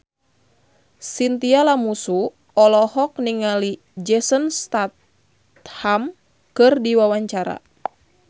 Chintya Lamusu olohok ningali Jason Statham keur diwawancara